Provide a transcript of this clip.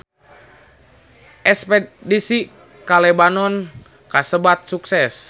Espedisi ka Lebanon kasebat sukses